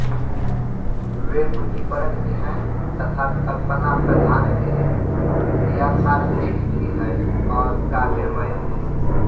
वे बुद्धिपरक भी हैं तथा कल्पनाप्रधान भी याथार्थिक भी हैं और काव्यमय भी